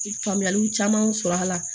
Faamuyaliw camanw sɔrɔ a la